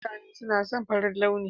Mutane na son farin launi.